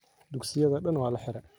Dugsiyadha daan waa laxire.